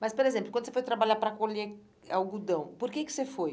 Mas, por exemplo, quando você foi trabalhar para colher algodão, por que que você foi?